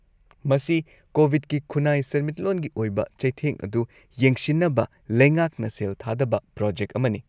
-ꯃꯁꯤ ꯀꯣꯕꯤꯗꯀꯤ ꯈꯨꯟꯅꯥꯏ-ꯁꯦꯟꯃꯤꯠꯂꯣꯟꯒꯤ ꯑꯣꯏꯕ ꯆꯩꯊꯦꯡ ꯑꯗꯨ ꯌꯦꯡꯁꯤꯟꯅꯕ ꯂꯩꯉꯥꯛꯅ ꯁꯦꯜ ꯊꯥꯗꯕ ꯄ꯭ꯔꯣꯖꯦꯛ ꯑꯃꯅꯤ ꯫